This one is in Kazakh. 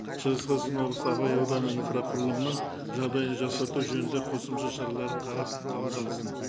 шығыс қазақстан облысы абай ауданы инфрақұрылымының жағдайын жақсарту жөнінде қосымша шаралар қабылдансын